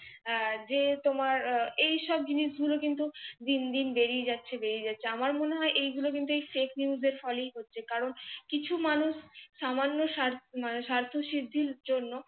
যে তোমার এই সব জিনিসগুলো কিন্তু দিন দিন বেড়েই যাচ্ছে বেড়েই যাচ্ছে, আমার মনে হয় এ গুলো কিন্তু FAKENEWS এর ফলেই হচ্ছে। কারণ কিছু মানুষ সামান্য মানে স্বার্থ সিদ্ধির জন্য